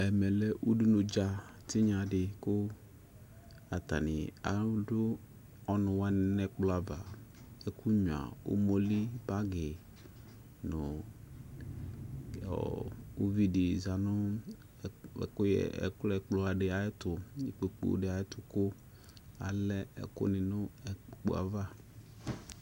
Ɛmɛ lɛ udunu dza tinya di ku atani adu ɔnuwani nu ɛkplɔ ava ɛkunya umoli bagi nu uvi di za nu ɛkplɔ di ayɛtu kpoku di ayɛtu ku alɛ ɛkuni nu kpokpu ava